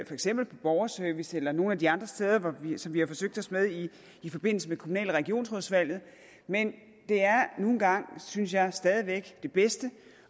eksempel på borgerservice eller nogle af de andre steder som vi har forsøgt os med i forbindelse med kommunal og regionsrådsvalget men det er nu engang synes jeg stadig væk det bedste